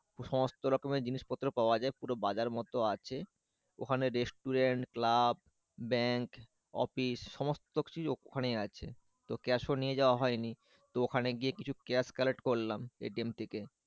সমস্ত রকমের জিনিসপত্র পাওয়া যায় পুরো বাজার মত আছে ওখানে রেস্টুরেন্ট ক্লাব ব্যাংক অফিস সমস্থ কিছু ওখানে আছে। তো ক্যাশ ও নিয়ে যাওয়া হয়নি। তো ওখানে গিয়ে কিছু ক্যাশ কার্ড করলাম এটিএম থেকে।